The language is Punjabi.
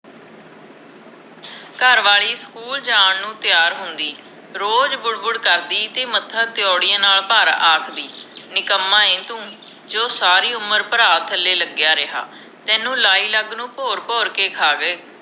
ਘਰਵਾਲੀ ਸਕੂਲ ਜਾਣ ਨੂੰ ਤਿਆਰ ਹੁੰਦੀ ਰੋਜ ਬੁੜ ਬੁੜ ਕਰਦੀ ਤੇ ਮੱਥਾ ਤੀਊੜੀਆਂ ਨਾਲ ਭਰ ਆਖਦੀ ਨਿਕੰਮਾ ਏ, ਤੂੰ ਜੋ ਸਾਰੀ ਉਮਰ ਭਰਾ ਥਲੇ ਲਗਿਆ ਰਿਹਾ ਤੈਨੂੰ ਲਾਈ ਲੱਗ ਨੂੰ ਭੋਰ ਭੋਰ ਕੇ ਖਾਵੇ